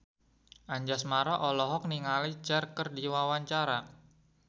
Anjasmara olohok ningali Cher keur diwawancara